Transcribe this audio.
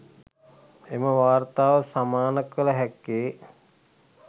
එම වාර්තාව සමානකල හැක්කේ